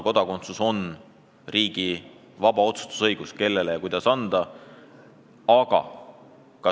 Kodakondsuse üle otsustab iga riik vabalt, võttes seisukoha, kellele ja kuidas seda anda.